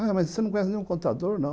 Ah, mas você não conhece nenhum contador, não.